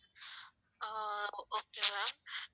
ah okay ma'am